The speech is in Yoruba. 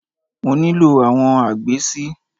Mo nílò àwọn agbè si.